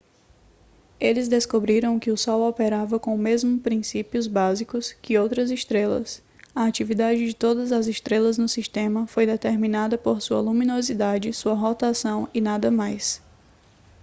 eles descobriram que o sol operava com o mesmo princípios básicos que outras estrelas a atividade de todas as estrelas no sistema foi determinada por sua luminosidade sua rotação e nada mais